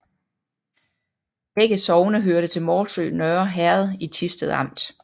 Begge sogne hørte til Morsø Nørre Herred i Thisted Amt